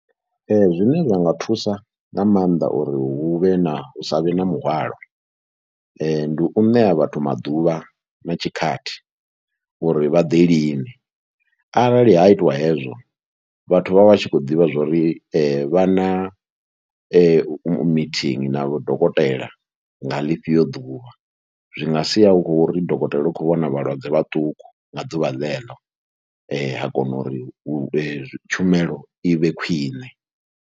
Ee zwine zwa nga thusa nga maanḓa uri hu vhe na, hu sa vhe na muhwalo, ndi u ṋea vhathu maḓuvha na tshikhathi uri vha ḓe lini, arali ha itiwa hezwo vhathu vha vha tshi khou ḓivha zwo ri vha na meeting na dokotela nga ḽifhio ḓuvha. Zwi nga sia hu khou ri dokotela u khou vhona vhalwadze vhaṱuku nga ḓuvha ḽeḽo ha kona uri tshumelo i vhe khwine.